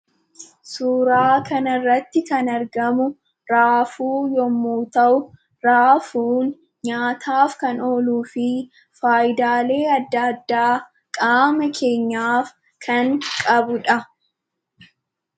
Suuraa kana irratti kan argamu raafuu yoomuu ta'u raafuun nyaataaf kan ooluu fi faayidaalee adda addaa qaama keenyaaf kan qabudha.